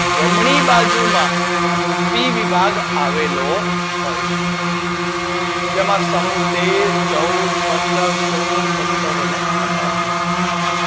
જમણી બાજુ માં પી વિભાગ આવેલો હોય છે જેમાં સમૂહ તેર, ચૌદ, પંદર સોળ, સતાર અને અઢાર નો સમાવેશ થાય છે.